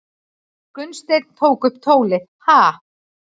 Gunnsteinn tók upp tólið:- Ha?